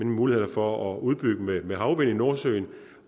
muligheder for at udbygge med med havvind i nordsøen